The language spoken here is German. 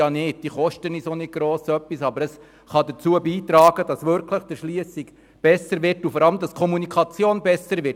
Sie kostet auch nicht viel, kann aber dazu beitragen, dass die Erschliessung verbessert und vor allem die Kommunikation besser wird.